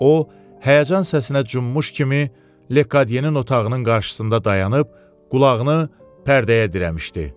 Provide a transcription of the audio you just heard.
O, həyəcan səsinə cünmüş kimi Lekodyenin otağının qarşısında dayanıb qulağını pərdəyə dirəmişdi.